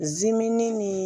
Zimini ni